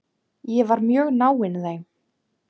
Ég var mjög náinn þeim.